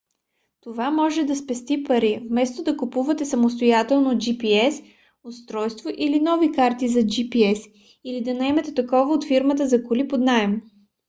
това може да спести пари вместо да купувате самостоятелно gps устройство или нови карти за gps или да наемете такова от фирма за коли под наем